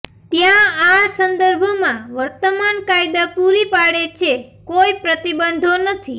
ત્યાં આ સંદર્ભમાં વર્તમાન કાયદા પૂરી પાડે છે કોઈ પ્રતિબંધો નથી